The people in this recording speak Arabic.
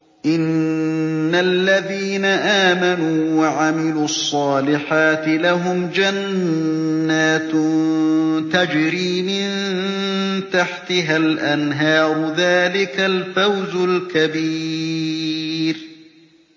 إِنَّ الَّذِينَ آمَنُوا وَعَمِلُوا الصَّالِحَاتِ لَهُمْ جَنَّاتٌ تَجْرِي مِن تَحْتِهَا الْأَنْهَارُ ۚ ذَٰلِكَ الْفَوْزُ الْكَبِيرُ